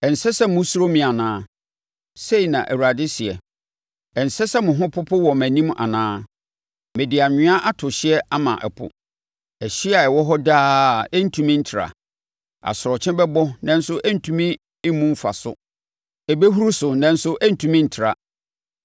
Ɛnsɛ sɛ mosuro me anaa?” Sei na Awurade seɛ. “Ɛnsɛ sɛ mo ho popo wɔ mʼanim anaa? Mede anwea ato hyeɛ ama ɛpo, ɛhyeɛ a ɛwɔ hɔ daa a ɛrentumi ntra. Asorɔkye bɛbɔ nanso ɛrentumi mmu mfa so; ɛbɛhuru so nanso ɛrentumi ntra.